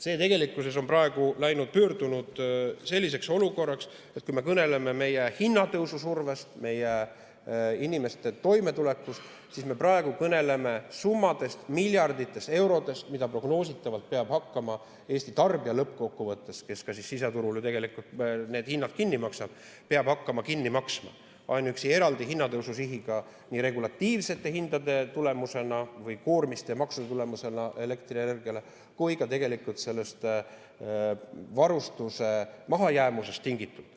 Praegu on see pöördunud selliseks olukorraks, et kui me kõneleme hinnatõusu survest, inimeste toimetulekust, siis me kõneleme miljarditest eurodest, mida prognoositavalt peab lõppkokkuvõttes hakkama kinni maksma Eesti tarbija, kes ka siseturul need hinnad kinni maksab, seda nii ainuüksi eraldi hinnatõusu sihiga regulatiivsete hindade tulemusena või elektrienergiale kehtestatud koormiste ja maksude tulemusena kui ka varustuse mahajäämusest tingitult.